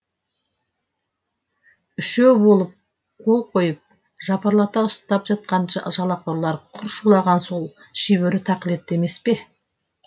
үшеу болып қол қойып жапырлата ұстатып жатқан жалақорлар құр шулаған сол шибөрі тақілетті емес пе